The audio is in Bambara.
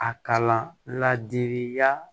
A kalan ladiriya